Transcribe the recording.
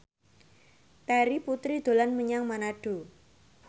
Terry Putri dolan menyang Manado